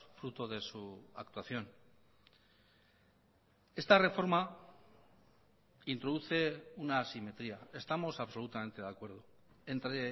fruto de su actuación esta reforma introduce una asimetría estamos absolutamente de acuerdo entre